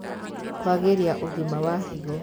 Kwagĩrĩa ũgima wa higo